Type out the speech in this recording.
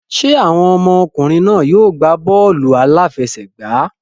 Ṣé àwọn ọmọkùnrin náà yóò gbá bọ́ọ̀lù aláfẹsẹ̀gbá?